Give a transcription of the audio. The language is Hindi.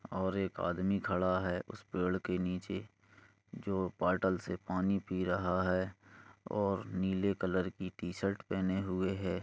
और एक आदमी खड़ा है उस पेड़ के नीचे जो बौटल से पानी पी रहा है और नीले कलर की शर्ट पहने हुए है।